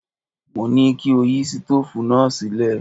Mo ní kí o yí sítóòfù náà sílẹ̀!